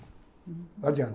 Não adianta.